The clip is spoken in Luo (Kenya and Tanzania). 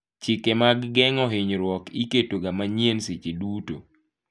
Chike mag geng'o hinyruok iketoga manyien seche duto.